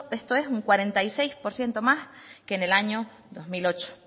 esto es un cuarenta y seis por ciento más que en el año dos mil ocho